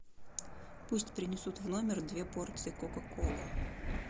пусть принесут в номер две порции кока колы